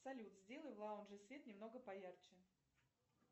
салют сделай в лаунже свет немного поярче